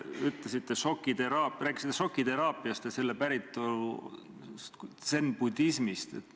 Te rääkisite šokiteraapiast ja selle päritolust zen-budismist.